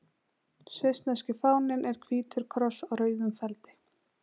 Svissneski fáninn er hvítur kross á rauðum feldi.